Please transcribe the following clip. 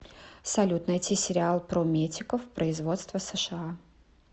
салют найти сериал про метиков производства сша